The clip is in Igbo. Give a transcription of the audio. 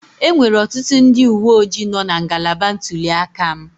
Enwere ọtụtụ ndị uwe ojii nọọ na ngalaba ntuli aka m